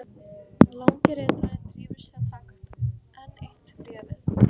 Langi ritarinn drífur sig að taka upp enn eitt bréfið.